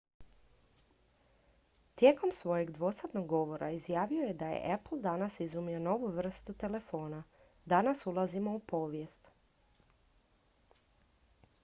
"tijekom svojeg dvosatnog govora izjavio je da je "apple danas izumio novu vrstu telefona. danas ulazimo u povijest"".